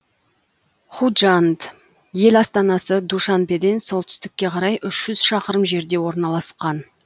худжанд ел астанасы душанбеден солтүстікке қарай үш жүз шақырым жерде орналасқан